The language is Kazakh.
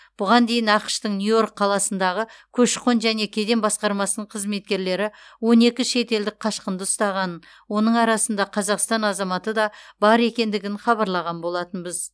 бұған дейін ақш тың нью йорк қаласындағы көші қон және кеден басқармасының қызметкерлері он екі шетелдік қашқынды ұстағанын оның арасында қазақстан азаматы да бар екендігін хабарлаған болатынбыз